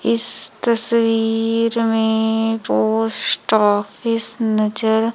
इस तस्वीर में पोस्ट ऑफिस नजर--